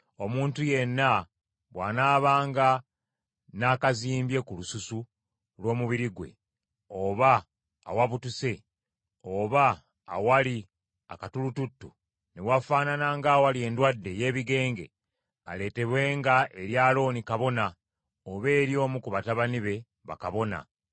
“Omuntu yenna bw’anaabanga n’akazimbye ku lususu lw’omubiri gwe, oba awabutuse, oba awali akatulututtu, ne wafaanana ng’awali endwadde ey’ebigenge, aleetebwenga eri Alooni kabona, oba eri omu ku batabani be bakabona.